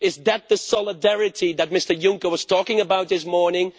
Is that the solidarity that Mr Juncker was talking about this morning?